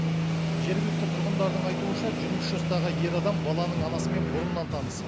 жергілікті тұрғындардың айтуынша жиырма үш жастағы ер адам баланың анасымен бұрыннан таныс